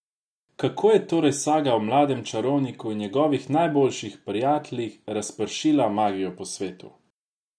Kako je torej saga o mladem čarovniku in njegovih najboljših prijateljih razpršila magijo po svetu?